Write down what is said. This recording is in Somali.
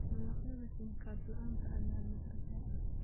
Dalagyada kiimikaad la'aanta ah ayaa gargaar ah.